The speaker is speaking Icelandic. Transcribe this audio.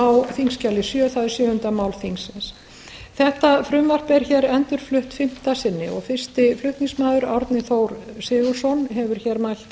og átta á þingskjali sjö það er sjöunda mál þingsins þetta frumvarp er hér endurflutt fimmta sinni fyrsti flutningsmaður árni þór sigurðsson hefur hér mælt